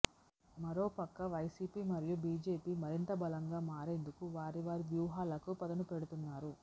మరోపక్క వైసీపీ మరియు బీజేపీ మరింత బలంగా మారేందుకు వారి వారి వ్యూహాలకు పదును పెడుతున్నారు